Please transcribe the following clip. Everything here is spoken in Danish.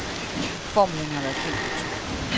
Formlen har været kendt i årtusinder.